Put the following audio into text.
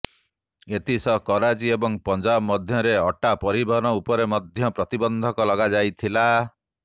ଏଥିସହ କରାଚି ଏବଂ ପଞ୍ଜାବ ମଧ୍ୟରେ ଅଟା ପରିବହନ ଉପରେ ମଧ୍ୟ ପ୍ରତିବନ୍ଧକ ଲଗାଯାଇଥିଲା